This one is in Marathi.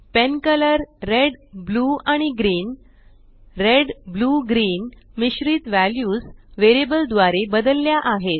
पेनकलर red blue आणि green red ब्लू Greenमिश्रित वॅल्यूस वेरियबल द्वारे बदलल्या आहेत